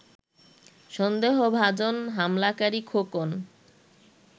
সন্দেহভাজন হামলাকারী খোকন